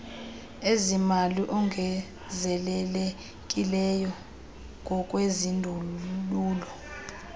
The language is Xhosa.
ezimali ongezelelekileyo ngokwezindululo